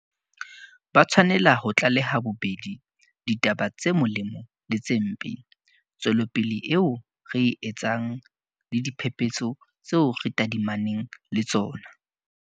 Ba tshwanela ho tlaleha bobedi ditaba tse molemo le tse mpe, tswelopele eo re e etsang le diphephetso tseo re tadimaneng le tsona.